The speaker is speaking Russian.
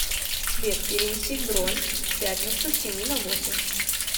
сбер перенеси бронь в пятницу с семи на восемь